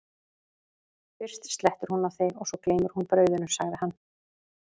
fyrst slettir hún á þig og svo gleymir hún brauðinu, sagði hann.